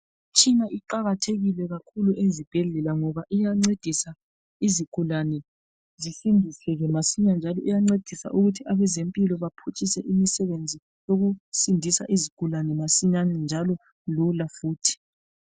Imitshina iqakathekile kakhulu ezibhedlela ngoba iyancedisa izigulane zisindiseke masinya njalo iyancedisa ukuthi abezempilo baphutshise imsebenzi yokusindisa izigulane masinyane njalo lula futhi.